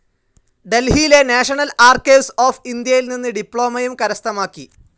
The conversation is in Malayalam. ഡൽഹിയിലെ നാഷണൽ ആർക്കൈവ്സ്‌ ഓഫ്‌ ഇന്ത്യയിൽ നിന്ന് ഡിപ്ലോമയും കരസ്ഥമാക്കി.